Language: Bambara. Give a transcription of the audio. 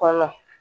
Kɔnɔ